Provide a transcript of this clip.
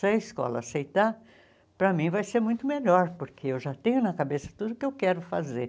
Se a escola aceitar, para mim vai ser muito melhor, porque eu já tenho na cabeça tudo o que eu quero fazer.